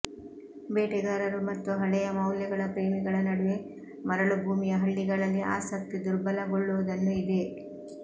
ಬೇಟೆಗಾರರು ಮತ್ತು ಹಳೆಯ ಮೌಲ್ಯಗಳ ಪ್ರೇಮಿಗಳ ನಡುವೆ ಮರಳುಭೂಮಿಯ ಹಳ್ಳಿಗಳಲ್ಲಿ ಆಸಕ್ತಿ ದುರ್ಬಲಗೊಳ್ಳುವುದನ್ನು ಇದೆ